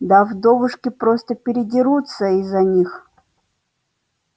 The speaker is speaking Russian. да вдовушки просто передерутся из-за них